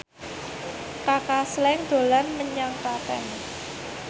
Kaka Slank dolan menyang Klaten